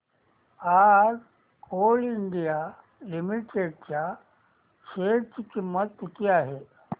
आज coal India limited च्या share ची किंमत किती आहे